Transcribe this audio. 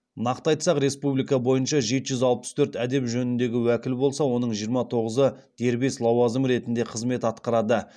нақты айтсақ республика бойынша жеті жүз алпыс төрт әдеп жөніндегі уәкіл болса оның жиырма тоғызы дербес лауазым ретінде қызмет атқарады